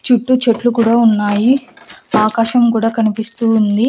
చుట్టూ చెట్లు కూడా ఉన్నాయి ఆకాశం కూడా కనిపిస్తూ ఉంది.